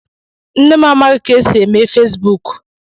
Nne m amaghi ka esi eme Fesbuk